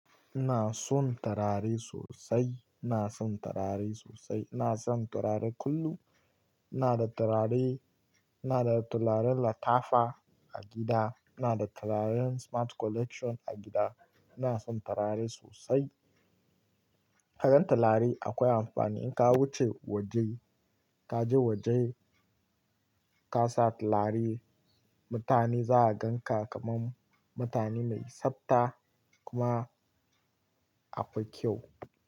Ina son turare sosai, ina son turare sosai. Ina son turare kullum. Ina da turare, ina da turaren latafa a gida, ina da turaren smart collection a gida. Ina son turare sosai. Ka gan turare akwai amfani. In ka wuce waje, ka je waje ka sa turare, mutane za su ganka kaman mutane mai tsabta kuma akwai kyau.